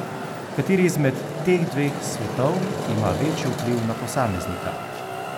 Kateri izmed teh dveh svetov ima večji vpliv na posameznika?